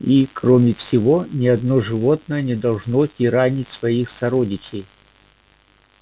и кроме всего ни одно животное не должно тиранить своих сородичей